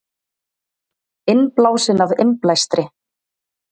Innblásinn af innblæstri